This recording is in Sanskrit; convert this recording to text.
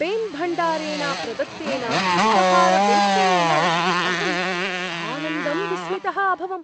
पेन्भण्डारेण प्रदत्तेन उपहारवेष्टनेन अहं सानन्दं विस्मितः अभवम्।